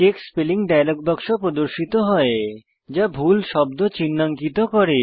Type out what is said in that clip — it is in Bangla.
চেক স্পেলিং ডায়লগ বাক্স প্রদর্শিত হয় যা ভুল শব্দ চিনহাঙ্কিত করে